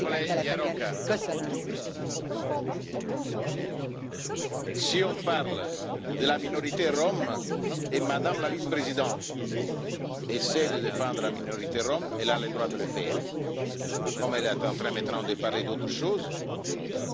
Si on parle de la minorité rom et que Madame la vice présidente essaie de défendre la minorité rom, elle a le droit de le faire. Comme elle était en train de parler d'autre chose, elle a demandé à prendre la parole sur la question des Roms.